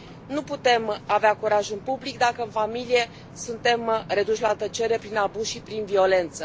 Nu putem avea curajul public dacă în familie suntem reduși la tăcere prin abuz și prin violență.